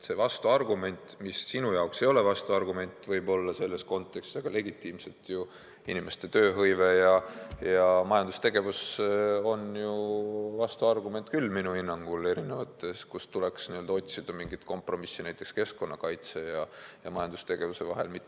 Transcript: Sinu jaoks see ei ole võib-olla vastuargument selles kontekstis, aga legitiimselt ju inimeste vähene tööhõive ja vähene majandustegevus on vastuargument küll minu hinnangul, kui erinevates olukordades tuleb otsida mingit kompromissi, näiteks keskkonnakaitse ja majandustegevuse sihtide vahel.